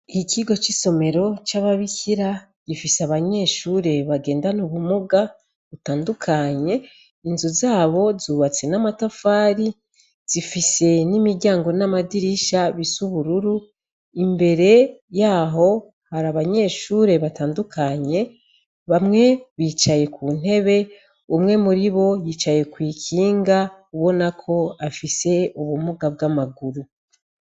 Ikigo c'isomero c'ababikira gifise abanyeshure bagendana ubumuga butandukanye inzu zabo zubatse n'amatafari zifise n'imiryango n'amadirisha bisubururu imbere yaho hari abanyeshure batandukanye bamwe bicaye ku ntebe umwe muri bo yicaye kw'ikinga ubonako afise ubumuga bw'amaguru.